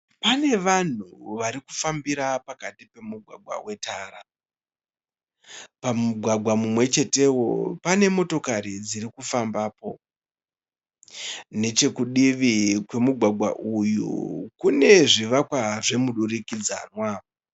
Pane vanhu varikufambira pakati pemugwagwa wetara. Pamugwagwa mumwechetewo pane motakari dzirikufambapo. Nechekudivi kwemugwagwa uyu kune zvivakwa zvemudurikidzanwa.